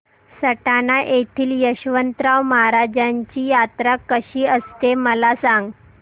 सटाणा येथील यशवंतराव महाराजांची यात्रा कशी असते मला सांग